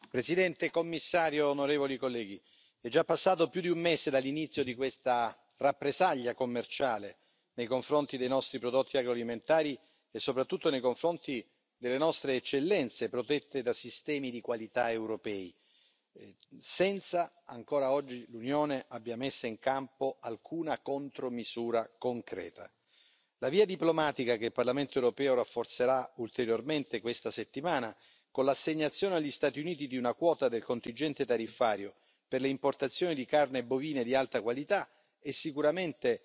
Signora Presidente, onorevoli colleghi, signora Commissario, è già passato più di un mese dall'inizio di questa rappresaglia commerciale nei confronti dei nostri prodotti agroalimentari e soprattutto nei confronti delle nostre eccellenze protette da sistemi di qualità europei, senza ancora oggi che l'Unione abbia messa in campo alcuna contromisura concreta. La via diplomatica che il Parlamento europeo rafforzerà ulteriormente questa settimana, con l'assegnazione agli Stati Uniti di una quota del contingente tariffario per le importazioni di carne bovine di alta qualità, è sicuramente